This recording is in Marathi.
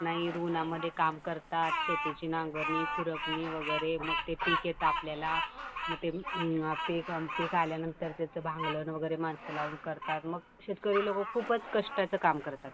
नाहीत उन्हामध्ये काम करतात. शेतीची नांगरणी, खुरपणी वगैरे. मग ते पीक येत आपल्याला.मग ते पीक आल्यानंतर त्याच भांगलण वगैरे माणसं लावून करतात. मग शेतकरी लोकं खूपच कष्टाचं काम करतात.